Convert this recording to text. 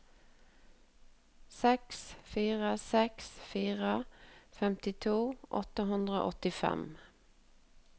seks fire seks fire femtito åtte hundre og åttifem